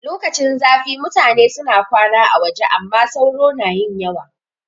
Lokacin zafi mutane suna kwana a waje amma sauro na yin yawa